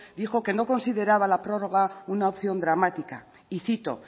dijo que no consideraba la prórroga una opción dramática y cito